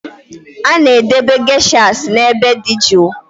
A na-edobe geishas n'ebe dị jụụ